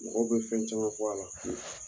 Mɔgɔw bɛ fɛn caman fɔ a la.